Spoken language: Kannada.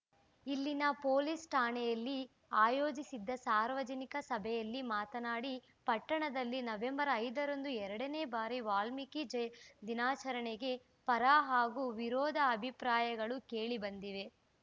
ಇಲ್ಲಿನ ಪೊಲೀಸ್‌ ಠಾಣೆಯಲ್ಲಿ ಆಯೋಜಿಸಿದ್ದ ಸಾರ್ವಜನಿಕ ಸಭೆಯಲ್ಲಿ ಮಾತನಾಡಿ ಪಟ್ಟಣದಲ್ಲಿ ನವೆಂಬರ್ ಐದರಂದು ಎರಡನೇ ಬಾರಿ ವಾಲ್ಮೀಕಿ ದಿನಾಚರಣೆಗೆ ಪರ ಹಾಗೂ ವಿರೋಧ ಅಭಿಪ್ರಾಯಗಳು ಕೇಳಿ ಬಂದಿವೆ